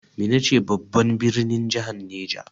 Minna ce babban birnin jahar Neja.